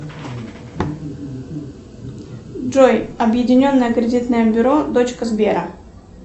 джой объединенное кредитное бюро дочка сбера